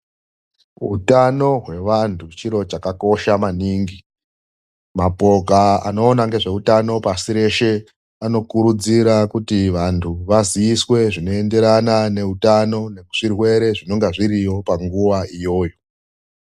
Utano hwevantu chiro chakakosha maningi, mapoka anoona ngezveutano pasi reshe, anokurudzira kuti vantu vaziiswe zvinoenderana neutano nezvirwere zvinonga zviriyo panguva iyoyo.